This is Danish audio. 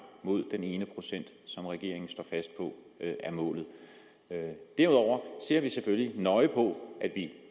mod den ene procent som regeringen står fast på er målet derudover ser vi selvfølgelig nøje på at